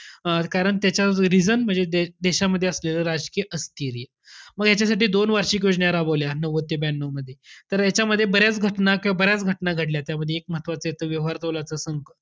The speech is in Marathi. अं कारण त्याचं reason म्हणजे देशामध्ये असलेलं राजकीय अस्थिर्य. मग याच्यासाठी दोन वार्षिक योजना राबवल्या, नव्वद ते ब्यानऊमध्ये. तर याच्यामध्ये बऱ्याच घटना किंवा बऱ्याच घटना घडल्या. त्यामध्ये एक महत्वाचं येतं व्यवहार तोलाचा संकट.